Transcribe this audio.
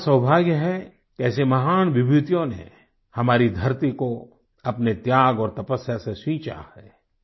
यह हमारा सौभाग्य है कि ऐसे महान विभूतियों ने हमारी धरती को अपने त्याग और तपस्या से सींचा है